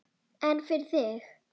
En fyrir þig?